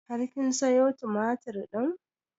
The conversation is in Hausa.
Har kin sayo tumatur ɗin?